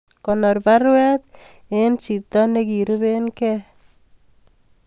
Konor baruet en chito negirupe gen